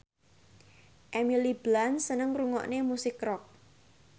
Emily Blunt seneng ngrungokne musik rock